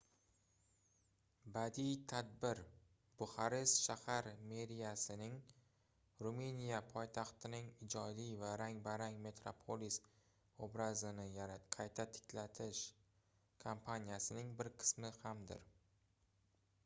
badiiy tadbir buxarest shahar meriyasining ruminiya poytaxtining ijodiy va rang-barang metropolis obrazini qayta tiklash kampaniyasining bir qismi hamdir